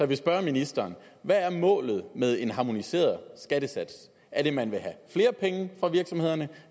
vil spørge ministeren hvad er målet med en harmoniseret skattesats er det at man vil have flere penge fra virksomhederne